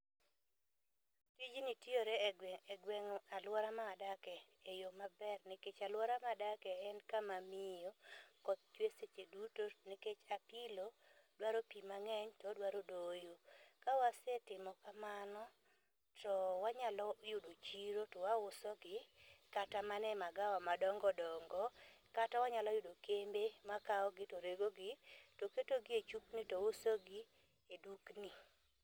Tijni tiyore e gweng' egwe e aluora ma wadakie e yoo maber nikech aluora madake en kama miyo, koth chwe seche duto nikech, apilo dwaro pii mang'eny to odwaro doyo. Kawasetimo kamano to wanyalo yudo chiro to wauso gi kata mane magawa madongodongo kata, wanyalo yudo kembe makawo gi to regogi to ketogi e chupni to uso gi e dukni.